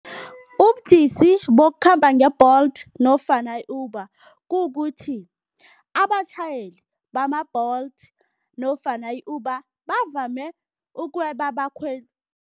Ubudisi bokukhamba nge-Bolt nofana i-Uber kukukuthi abatjhayeli bama-Bolt nofana i-Uber bavame ukweba abakhweli.